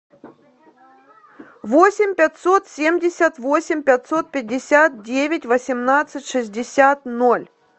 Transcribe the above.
восемь пятьсот семьдесят восемь пятьсот пятьдесят девять восемнадцать шестьдесят ноль